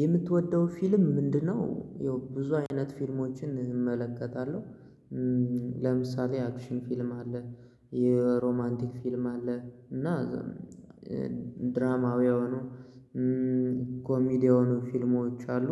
የምትወደው ፊልም ምንድነው? ያው ብዙ አይነት ፊልሞችን እመለከታለሁ። ለምሳሌ አክሽን ፊልም አለ። የሮማንቲክ ፊልም አለ እና ዛ ድራማዊ የሆኑ ኮሜዲ የሆኑ ፊልሞች አሉ።